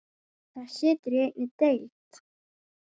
Það situr í einni deild.